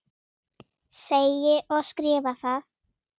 Segi og skrifa það.